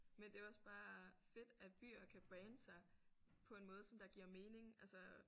Men det er jo også bare fedt at byer kan brande sig på en måde som der giver mening altså